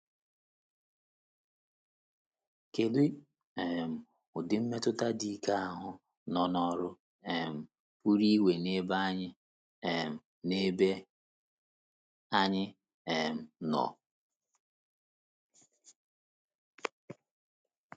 Kedu um udi mmetụta dị ike ahụ nọ n’ọrụ um pụrụ inwe n’ebe anyị um n’ebe anyị um nọ?